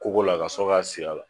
Kogo la a ka sɔrɔ k'a sir'a la.